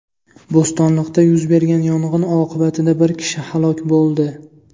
Bo‘stonliqda yuz bergan yong‘in oqibatida bir kishi halok bo‘ldi.